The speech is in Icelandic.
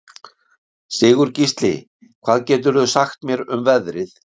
Sigurgísli, hvað geturðu sagt mér um veðrið?